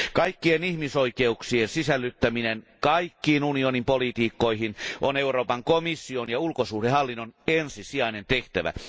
Kaikkien ihmisoikeuksien sisällyttäminen kaikkiin unionin politiikkoihin on Euroopan komission ja ulkosuhdehallinnon ensisijainen tehtävä.